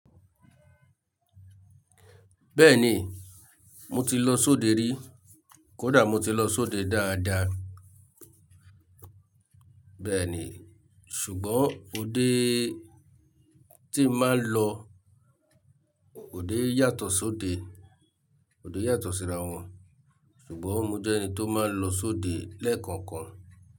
Bẹ́ẹ̀ni, mo ti lọ sóde rí. Kódà mo ti lọ sóde dáadáa. Bẹ́ẹ̀ni, ṣùgbọ́n òde tí màá ń lọ ò dé yàtọ̀ sóde, ò dé yàtọ̀ síra wọn. Ṣùgbọ́n mo jẹ́ ẹni tó máa ń lọ sóde lẹ́ẹ̀kọ̀ọ̀kan.